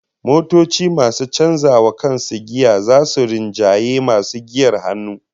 Motoci masu canza wa kansu giya zasu rinjayi masu giyar hannu